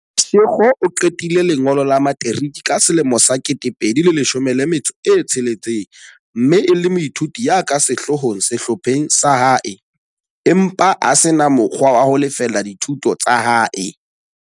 Mashego o qetile lengolo la materiki ka selemo sa 2016 mme e le moithuti ya ka sehloohong sehlopheng sa hae, empa a se na mo kgwa wa ho lefella dithuto tsa hae.